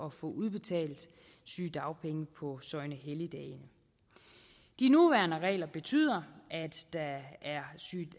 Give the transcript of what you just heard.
at få udbetalt sygedagpenge på søgnehelligdage de nuværende regler betyder